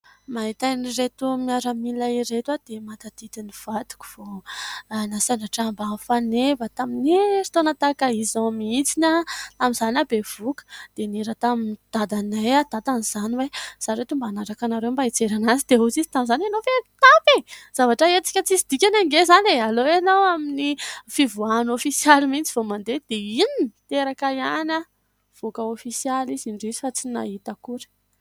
Mahita an'ireto miaramila ireto aho dia mahatadidy ny vadiko vao nasandratra ambany faneva tamin'ny heritaona tahaka izao mihitsiny ; tamin'izany aho bevoaka dia nihera tamin'ny dadanay aho dadany izany hoe izaho ireto mba hiaraka aminareo dia hoy izy tamin'izany hoe ianao ve mitapy e ! Zavatra hetsika tsy hisy dikany anie izany e ! Aleo ianao amin'ny fivoahana ofisialy mihitsy vao mandeha dia inona ? teraka ihany aho, nivoaka ofisialy izy indrisy fa tsy nahita akory.